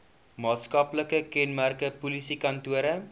maatskaplike kenmerke polisiekantore